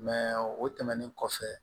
o tɛmɛnen kɔfɛ